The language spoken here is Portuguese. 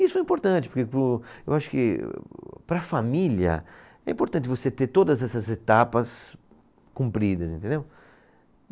Isso é importante, porque para o, eu acho que para a família é importante você ter todas essas etapas cumpridas, entendeu?